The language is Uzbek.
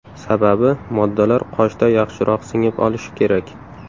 Sababi moddalar qoshda yaxshiroq singib olishi kerak.